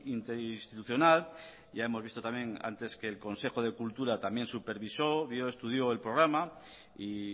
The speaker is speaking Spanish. interinstitucional ya hemos visto también antes que el consejo de cultura también supervisó vio estudió el programa y